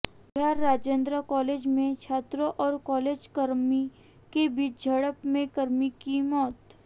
बिहारः Rajendra college में छात्रों और कॉलेज कर्मी के बीच झड़प में कर्मी की मौत